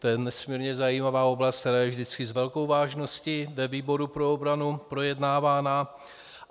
To je nesmírně zajímavá oblast, která je vždycky s velkou vážností ve výboru pro obranu projednávána.